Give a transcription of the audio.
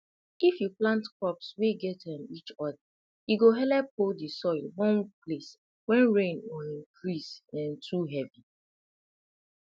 if you plant crops wey gat um each other e go helep hold the soil one place when rain or um breeze um too heavy